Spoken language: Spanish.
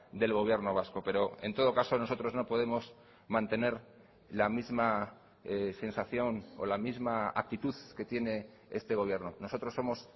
del gobierno vasco pero en todo caso nosotros no podemos mantener la misma sensación o la misma actitud que tiene este gobierno nosotros somos